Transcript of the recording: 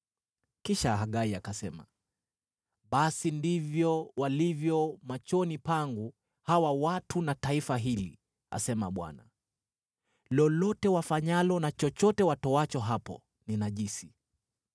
Kisha Hagai akasema, “ ‘Basi ndivyo walivyo machoni pangu hawa watu na taifa hili,’ asema Bwana . ‘Lolote wafanyalo na chochote watoacho hapo ni najisi.